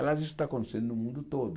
Aliás, isso está acontecendo no mundo todo.